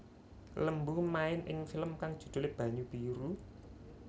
Lembu main ing film kang judhulé Banyu Biru